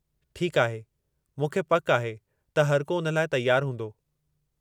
ठीकु आहे, मूंखे पक आहे त हरिको उन लाइ तैयारु हूंदो।